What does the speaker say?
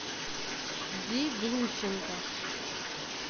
ди глущенко